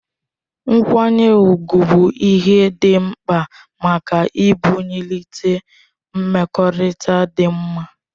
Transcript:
Nkwanye ugwu bụ ihe dị mkpa maka ibulite mmekọrịta dị mma